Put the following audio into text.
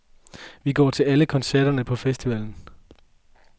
Vi går til alle koncerterne på festivalen.